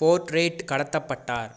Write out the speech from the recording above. போர்ட்டே கடத்தப்பட்டார்